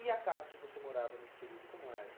E a casa que você morava nesse período, como era?